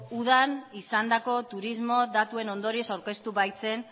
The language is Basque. udan izandako turismo datuen ondorioz aurkeztu baitzen